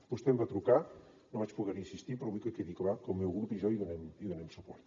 vostè em va trucar no vaig poder hi assistir però vull que quedi clar que el meu grup i jo hi donem suport